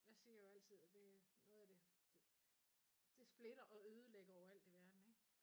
Jeg siger jo altid at det noget af det det splitter og ødelægger jo alt i verden ikke